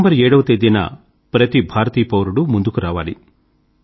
December 7 వ తేదీన ప్రతి భారతీయ పౌరుడూ ముందుకు రావాలి